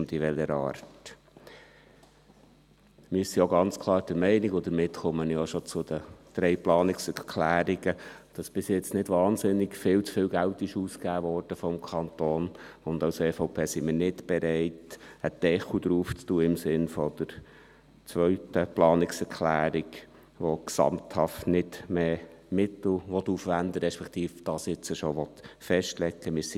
Zu den drei Planungserklärungen: Wir sind auch ganz klar der Meinung, dass bisher vom Kanton nicht wahnsinnig viel zu viel Geld ausgegeben wurde, und als EVP sind wir nicht bereit, einen Deckel draufzulegen, im Sinne der zweiten Planungserklärung, die gesamthaft nicht mehr Mittel aufwenden will, respektive dies jetzt schon festlegen will.